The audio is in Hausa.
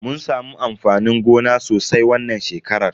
Mun samu amfanin gona sosai wannan shekarar.